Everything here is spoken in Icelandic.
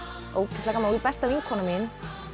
ógeðslega gaman besta vinkona mín